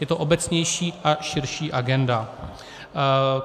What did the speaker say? Je to obecnější a širší agenda.